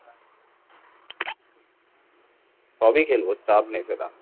সবই খেলব চাপ নেই সেটা